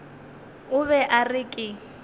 o be a re ke